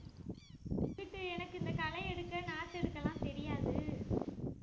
இங்கிட்டு எனக்கு இந்த களை எடுக்க நாத்து எடுக்க எல்லாம் தெரியாது